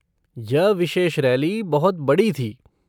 यह विशेष रैली बहुत बड़ी थी।